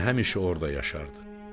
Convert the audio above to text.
Fitnə həmişə orada yaşardı.